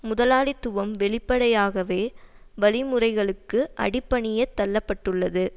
முதலாளித்துவம் வெளிப்படையாகவே வழி முறைகளுக்கு அடிபணியத் தள்ள பட்டுள்ளது